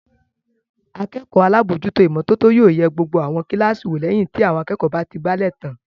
Akẹ́kọ̀ọ́ alábòójútó ìmọ́tótó yóò yẹ gbogbo àwọn kíláàsì wò lẹ́yìn tí àwọn akẹ́kọ̀ọ́ bá ti àgbálẹ̀ tán.